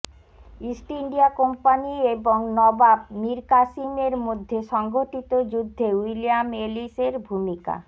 east India company এবং নবাবমির কাসিম এর মধ্যে সংঘটিত যুদ্ধে উইলিয়াম এলিস এর ভূমিকা